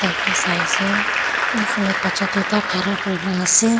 ta sai ase uphaley bacha duita khara kurina ase.